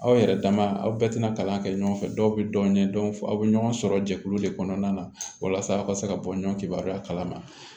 Aw yɛrɛ dama aw bɛɛ tɛna kalan kɛ ɲɔgɔn fɛ dɔw bɛ dɔn aw bɛ ɲɔgɔn sɔrɔ jɛkulu de kɔnɔna na walasa aw ka se ka bɔɲɔgɔnya kalama